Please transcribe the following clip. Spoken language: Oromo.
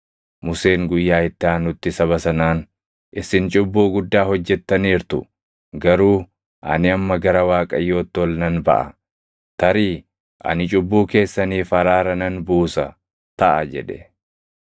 Museen guyyaa itti aanutti saba sanaan, “Isin cubbuu guddaa hojjettaniirtu. Garuu ani amma gara Waaqayyootti ol nan baʼa; tarii ani cubbuu keessaniif araara nan buusa taʼa” jedhe.